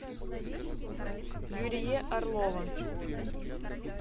юрие орлова